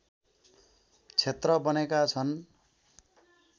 क्षेत्र बनेका छन्